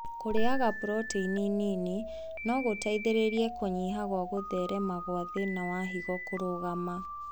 Kũrĩaga proteini nini no gũteithĩrĩrie kũnyihia gwa gũtherema gwa thĩna wa higo kũrũgama